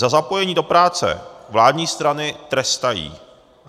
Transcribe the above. Za zapojení do práce vládní strany trestají.